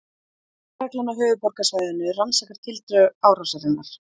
Lögreglan á höfuðborgarsvæðinu rannsakar tildrög árásarinnar